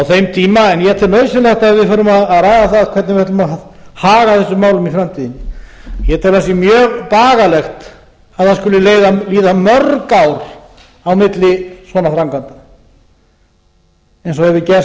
þeim tíma en ég tel nauðsynlegt að við förum að ræða það hvernig við ætlum að haga þessum málum í framtíðinni ég tel að það sé mjög bagalegt að það skuli líða mörg ár á milli svona framkvæmda eins og það hefur gert